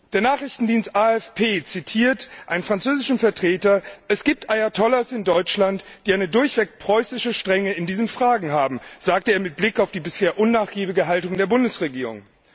Der Nachrichtendienst AFP zitiert einen französischen Vertreter Es gibt Ayatollahs in Deutschland, die eine durchweg preußische Strenge in diesen Fragen haben, sagte er mit Blick auf die bisher unnachgiebige Haltung der Bundesregierung.